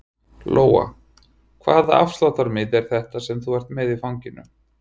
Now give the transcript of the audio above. Lóa: Hvaða afsláttarmiði er þetta sem þú ert með í fanginu?